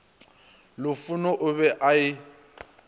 lufhuno o be a e